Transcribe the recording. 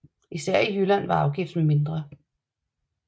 Især i Jylland var afgiften mindre